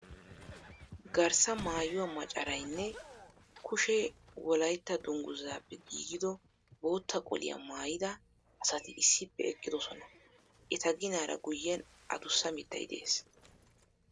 Garssa maayuwa macaray nne kushee Wolaytta dungguzaappe giigido bootta qoliya maayida asati issippe eqqidosona. Eta ginaara guyyen adussa mittay de'es.